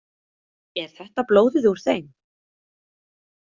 Er þetta blóðið úr þeim?